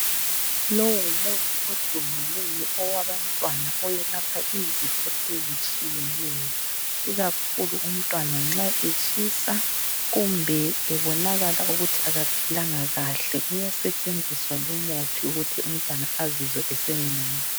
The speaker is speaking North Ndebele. Lowu ngumuthi odumileyo owabantwana oyelapha izifo ezitshiyeneyo ikakhulu umntwana nxa etshisa kumbe ebonakala ukuthi akaphilanga kahle uyasetshenziswa lumuthi ukuthi umntwana azizwe esengcono.